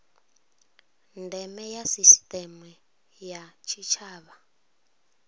ndeme ya sisiteme ya tshitshavha